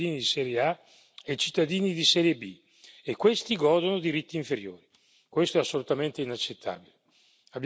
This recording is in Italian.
Stiamo di fatto definendo che esistono cittadini di serie A e cittadini di serie B, e questi godono di diritti inferiori.